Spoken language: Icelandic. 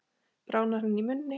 Bráðnar hann í munni?